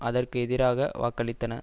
அதற்கு எதிராக வாக்களித்தன